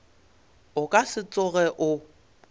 o ka se tsoge o